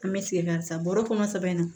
An bɛ segin kan sisan bɔrɔ kɔnɔ sɛbɛ na